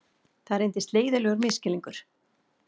Það reyndist leiðinlegur misskilningur